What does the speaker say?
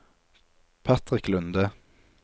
Patrick Lunde